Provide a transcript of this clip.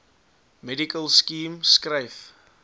medical scheme skryf